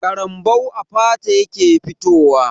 Ƙarambau a fata yake fitowa.